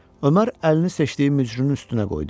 Ömər əlini seçdiyi mücrünün üstünə qoydu.